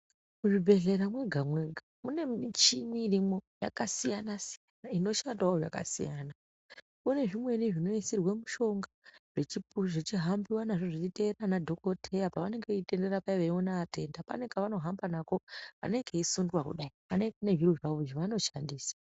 Muzvibhehlera mwega mwega mune michini irimwo yakasiyana siyana inoshandawo zvakasiya, mune zvimweni zvinoisiwa mishonga zvechihambiwa nazvo zvichteerera ana dhokoteya pavanenge veitenderera paya pavanenge vachiona vatenda pane kavanohamba nako kanenge keisundwa kudai kanenge kane zviro zvavo zvavanoshandisa.